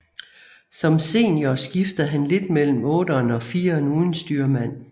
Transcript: Som senior skiftede han lidt mellem otteren og fireren uden styrmand